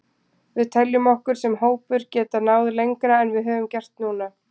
Við teljum okkur sem hópur geta náð lengra en við höfum gert núna.